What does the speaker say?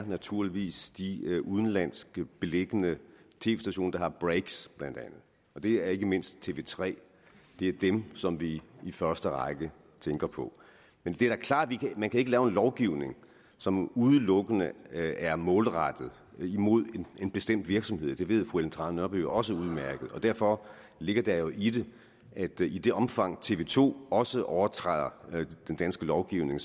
naturligvis de i udlandet beliggende tv stationer der har breaks bla og det er ikke mindst tv3 det er dem som vi i første række tænker på men det er da klart at man ikke kan lave en lovgivning som udelukkende er målrettet en bestemt virksomhed og det ved fru ellen trane nørby også udmærket og derfor ligger der jo i det at i det omfang tv to også overtræder den danske lovgivning